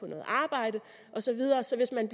noget arbejde og så videre så hvis en